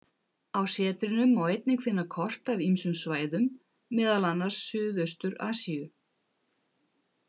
Á setrinu má einnig finna kort af ýmsum svæðum, meðal annars Suðaustur-Asíu.